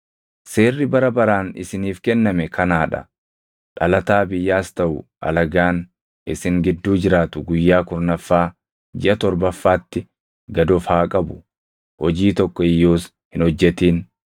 “Seerri bara baraan isiniif kenname kanaa dha: Dhalataa biyyaas taʼu alagaan isin gidduu jiraatu guyyaa kurnaffaa jiʼa torbaffaatti gad of haa qabu; hojii tokko iyyuus hin hojjetin.